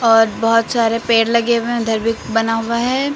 और बहुत सारे पेड़ लगे हुए हैं उधर भी बना हुआ है।